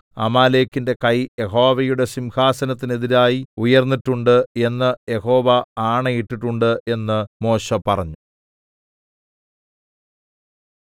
അമാലേക്കിന്റെ കൈ യഹോവയുടെ സിംഹസനത്തിനെതിരായി ഉയര്‍ന്നിട്ടുണ്ട് എന്ന് യഹോവ ആണയിട്ടിട്ടുണ്ട് എന്ന് മോശെ പറഞ്ഞു